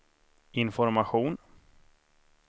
information